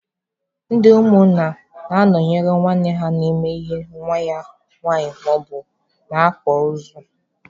Ndị umunna na-anọnyere nwanne ha na-eme ihe nwa ya nwaanyị maọbụ na-akwa ozu.